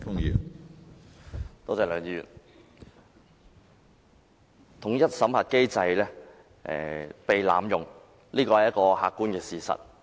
從政府提供的數字看來，統一審核機制被濫用是一個客觀的事實。